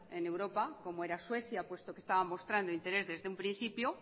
en europa como era suecia puesto que esta mostrando interés desde un principio